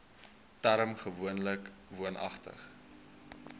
term gewoonlik woonagtig